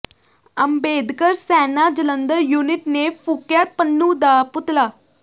Ambedkar Sena Jalandhar unit ਨੇ ਫੂਕਿਆ ਪੰਨੂੰ ਦਾ ਪੁਤਲਾ